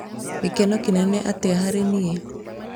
gĩkeno kĩnene atĩa harĩ niĩ?